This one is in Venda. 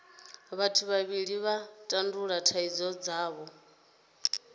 vhathu vhavhili vha tandulula thaidzo dzavho